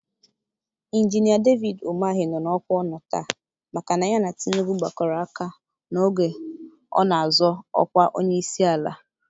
Injinia David Umahị nọ n'ọkwa ọ nọ taa maka na ya na Tinubu gbakọrọ aka n'oge ọ na-azọ ọkwa onyeisiala.